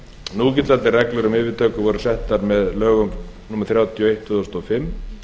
núgildandi reglur um yfirtökur voru settar með lögum númer þrjátíu og eitt tvö þúsund og fimm